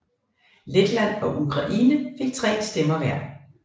Letland og Ukraine fik tre stemmer hver